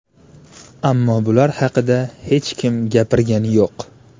Ammo bular haqida hech kim gapirgani yo‘q.